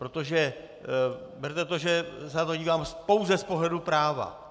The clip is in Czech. Protože berte to, že se na to dívám pouze z pohledu práva.